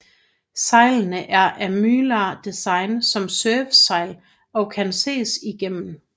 Sejlene er af mylar design som surfsejl og kan ses igennem